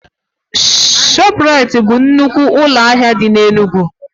Shoprite bụ nnukwu ụlọ ahịa dị n'Enugwu.